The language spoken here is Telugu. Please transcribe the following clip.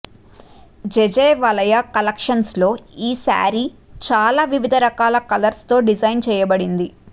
జెజె వలయా కలెక్షన్స్ లో ఈ శారీ చాలా వివిధ రకాల కలర్స్ తో డిజైన్ చేయబడింది